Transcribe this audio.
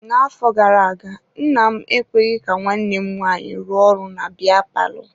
Na-afọ gara-aga, nna m enweghị nwanne m nwaanyị ruo ọrụ na biya palọ.